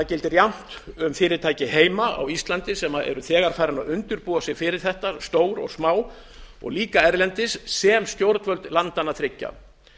gildir um fyrirtæki heima á íslandi sem eru þegar farin að undirbúa sig fyrir þetta stór og smá líka um fyrirtæki erlendis sem og um stjórnvöld landanna þriggja